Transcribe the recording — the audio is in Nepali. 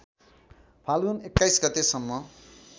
फाल्गुन २१ गतेसम्म